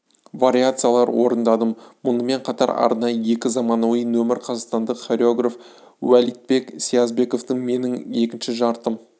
вариациялар орындадым мұнымен қатар арнайы екі заманауи нөмір қазақстандық хореограф уәлитбек сиязбековтің менің екінші жартым